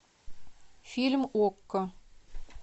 фильм окко